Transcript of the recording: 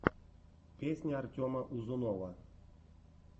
песня артема узунова